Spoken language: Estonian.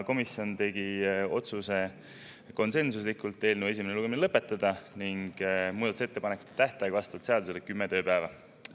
Komisjon tegi konsensuslikult otsuse eelnõu esimene lugemine lõpetada ning muudatusettepanekute tähtaeg on vastavalt seadusele kümme tööpäeva.